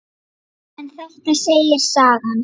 En þetta segir sagan.